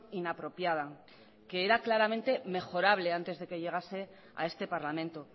inapropiada que era claramente mejorable antes de que llegase a este parlamento